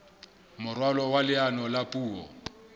moralo wa leano la puo